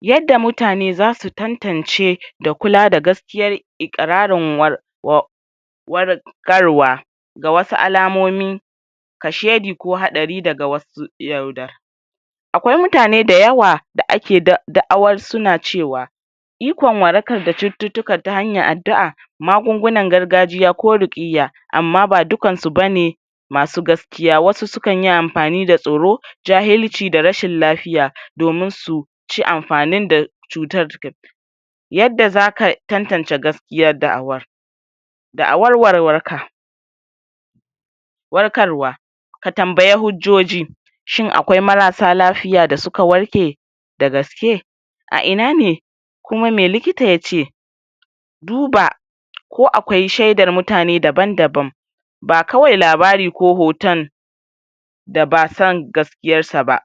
Yadda mutane zasu tantance da kula da gaskiyar iƙirarin war wa war ƙarwa ga wasu alamomi kashedi ko haɗari daga wasu yaudar akwai mutane dayawa da ake da da'awar suna cewa ikon warakar da cututtuka ta hanyar addu'a magungunan gargajiya ko ruƙiyya amma ba dukansu bane masu gaskiya. Wasu sukanyi amfani da tsoro jahilci da rashin lafiya, domin su ci amfanin da cutar? yadda zaka tantance gaskiyar da'awar Da'awar warwarka warkarwa ka tambaya hujjoji shin akwai marasa lafiya da suka warke da gaske a inane kuma me likita yace duba ko akwai shaidar mutane daban-daban ba kawai labari ko hoton da bason gaskiyarsa ba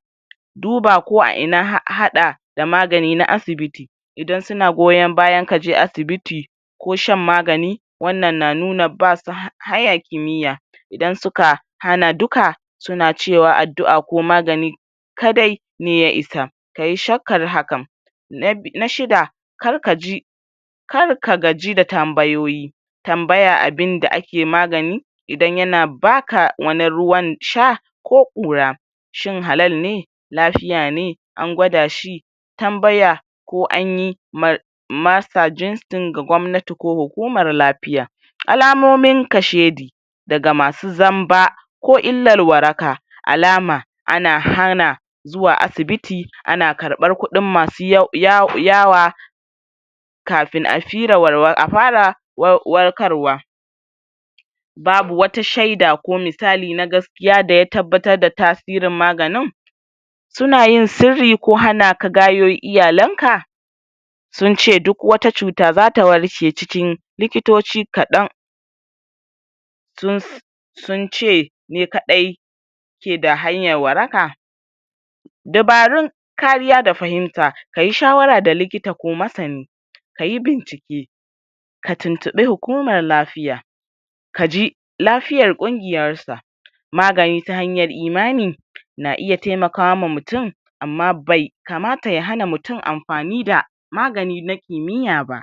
duba ko a ina ha haɗa da magani na asibiti idan suna goyon bayan kaje asibiti ko shan magani wannan na nuna basu ha haya kimiyya idan suka hana duka suna cewa addu'a ko magani kadai ne ya isa kayi shakkar hakan na bi, na shida kar kaji kar ka gaji da tambayoyi tambaya abinda ake magani idan yana baka wani ruwan sha ko ƙura shin halal ne, lafiya ne, an gwada shi tambaya ko anyi mar masa jinstin ga gwamnati ko hukumar lafiya Alamomin kashedi daga masu zamba ko illar waraka alama ana hana zuwa asibiti ana karɓar kuɗin masu ya ya yawa kafin a fira warwa,a fara war, warkarwa babu wata shaida ko misali na gaskiya daya tabbatar da tasirin maganin sunayin sirri ko hanaka gayo iyalanka sunce duk wata cuta zata warke cikin likitoci kaɗan sun sunce ne kaɗai keda hanyar waraka dabarun kariya da fahimta kayi shawara da likita ko masani kayi bincike ka tuntuɓi hukumar lafiya kaji lafiyar ƙungiyarsa magani ta hanyar imani na iya taimakama mutum amma bai kamata ya hana mutum amfani da magani na kimiyyya ba.